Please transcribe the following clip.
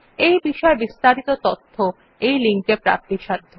এই বিষয় বিস্তারিত তথ্য এই লিঙ্ক এ প্রাপ্তিসাধ্য